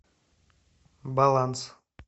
баланс